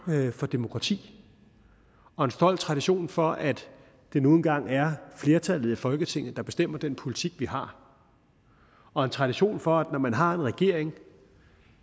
for demokrati og en stolt tradition for at det nu engang er flertallet i folketinget der bestemmer den politik vi har og en tradition for at når man har en regering